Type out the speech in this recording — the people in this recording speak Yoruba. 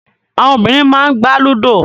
Àwọn obìnrin máà n gbà Ludo.